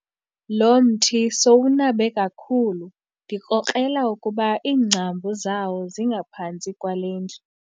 Lo mthi sowunabe kakhulu ndikrokrela ukuba iingcambu zawo zingaphantsi kwale ndlu.